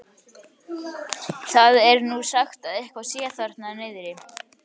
Það er nú sagt að eitthvað sé þar niðri.